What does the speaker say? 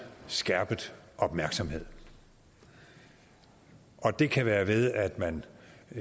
skærpet opmærksomhed og det kan være ved at man